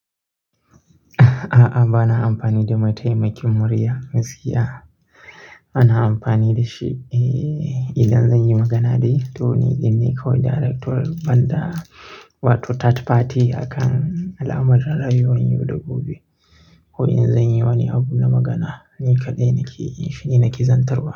A'a, ba na amfani da maitaimakin murya gaskiya. Bana amfani da shi, eh, idan zan yi magana dai. To ni ne kawai direct to ban da wato third party a kan alamar rayuwan yau da gobe. Ko in zan yi wani abu na magana, ni kaɗai nake yin shi ni nake zantarwa.